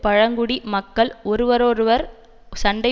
பழங்குடி மக்கள் ஒருவரோடொருவர் சண்டை